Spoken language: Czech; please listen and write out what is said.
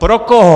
Pro koho?